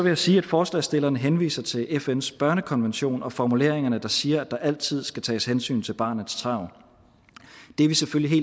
jeg sige at forslagsstillerne henviser til fns børnekonvention og formuleringerne der siger at der altid skal tages hensyn til barnets tarv det er vi selvfølgelig